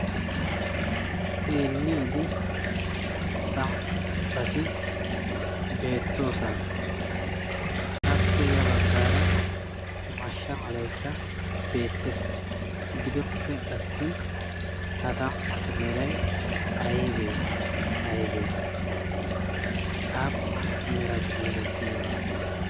eelli wode sampppati beettoosana appe ya baggaara mashsha malaikka beettees gidoppe attin ha samppatu merai aibee aibee aappun meratu meretti dona?